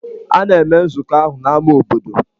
A na-eme nzukọ ahụ n'ámá obodo.